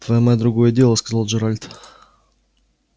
твоя мать другое дело сказал джералд